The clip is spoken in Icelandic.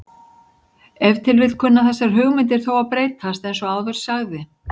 Ef til vill kunna þessar hugmyndir þó að breytast eins og áður sagði.